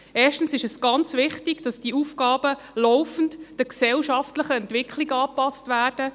Erstens ist es ganz wichtig, dass diese Aufgaben laufend den gesellschaftlichen Entwicklungen angepasst werden.